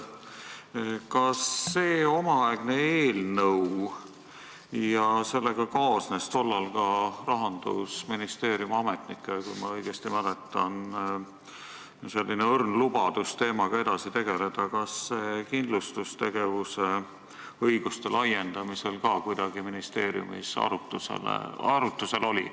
Kas see omaaegne eelnõu, millega kaasnes tol ajal Rahandusministeeriumi ametnike, kui ma õigesti mäletan, õrn lubadus teemaga edasi tegeleda, kindlustustegevuse õiguste laiendamist arutades ka kuidagi ministeeriumis arutlusel oli?